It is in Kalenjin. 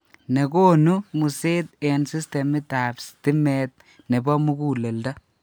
Nekonu museet eng' sistemit ab stimeet nebo muguleldo